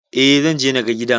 Eh, Zanje naga gidan